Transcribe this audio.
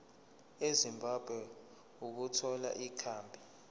ezimbabwe ukuthola ikhambi